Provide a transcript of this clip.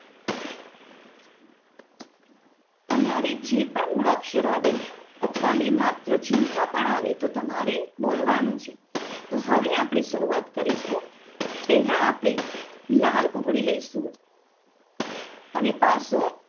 તમારે જે પણ મૂળાક્ષર આવે અથવા બેમાત્ર ચિન્હ પણ આવે તો તમારે બોલવાનું છે.